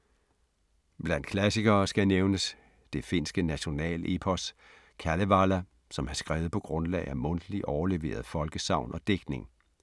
Blandt klassikere skal nævnes det finske nationalepos, Kalevala, som er skrevet på grundlag af mundtlige overleverede folkesagn og digtning.